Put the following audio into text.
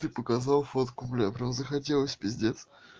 ты показал фотку бля прям захотелось пиздец